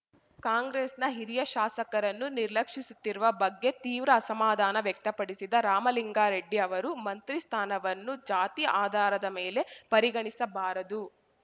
ಕಾಂಗ್ರೆಸ್‌ನ ಹಿರಿಯ ಶಾಸಕರನ್ನು ನಿರ್ಲಕ್ಷಿಸುತ್ತಿರುವ ಬಗ್ಗೆ ತೀವ್ರ ಅಸಮಾಧಾನ ವ್ಯಕ್ತಪಡಿಸಿದ ರಾಮಲಿಂಗಾರೆಡ್ಡಿ ಅವರು ಮಂತ್ರಿ ಸ್ಥಾನವನ್ನು ಜಾತಿ ಆಧಾರದ ಮೇಲೆ ಪರಿಗಣಿಸಬಾರದು